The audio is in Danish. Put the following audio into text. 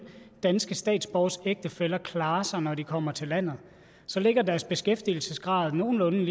danske statsborgeres ægtefæller klarer sig når de kommer til landet så ligger deres beskæftigelsesgrad nogenlunde